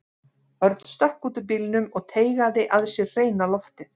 Örn stökk út úr bílnum og teygaði að sér hreina loftið.